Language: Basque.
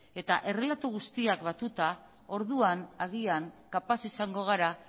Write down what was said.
eta errelato guztiak batuta orduan agian kapaz izango gara